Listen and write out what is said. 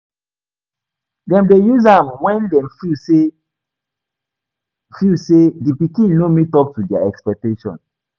Dem de use am when dem feel say feel say di pikin no meet up to their expectation